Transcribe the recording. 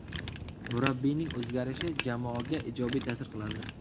Murabbiyning o‘zgarishi jamoaga ijobiy ta’sir qiladi.